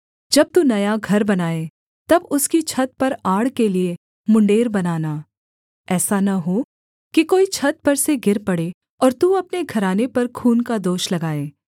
जब तू नया घर बनाए तब उसकी छत पर आड़ के लिये मुण्डेर बनाना ऐसा न हो कि कोई छत पर से गिर पड़े और तू अपने घराने पर खून का दोष लगाए